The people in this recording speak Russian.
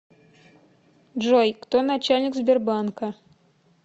джой кто начальник сбербанка